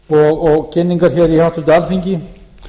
og kynningar hér í háttvirtu alþingi